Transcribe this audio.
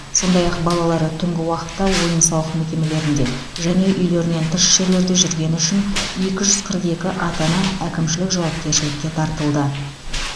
сондай ақ балалары түнгі уақытта ойын сауық мекемелерінде және үйлерінен тыс жерлерде жүргені үшін екі жүз қырық екі ата ана әкімшілік жауапкершілікке тартылды